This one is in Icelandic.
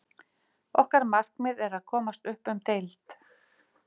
Okkar markmið er að komast upp um deild.